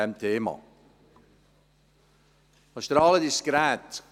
Was strahlt, ist das Gerät.